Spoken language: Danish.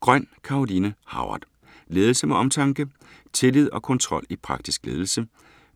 Grøn, Caroline Howard: Ledelse med omtanke Tillid og kontrol i praktisk ledelse.